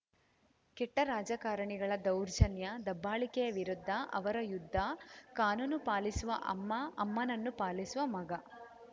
ಕೆಟ್ಟರಾಜಕಾರಣಿಗಳ ದೌರ್ಜನ್ಯದಬ್ಬಾಳಿಕೆಯ ವಿರುದ್ಧ ಅವರ ಯುದ್ಧ ಕಾನೂನು ಪಾಲಿಸುವ ಅಮ್ಮ ಅಮ್ಮನನ್ನು ಪಾಲಿಸುವ ಮಗ